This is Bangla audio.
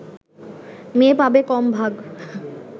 মেয়ে পাবে কম ভাগ